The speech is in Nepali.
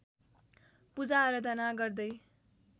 पूजा आराधना गर्दै